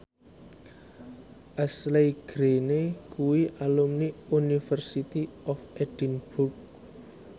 Ashley Greene kuwi alumni University of Edinburgh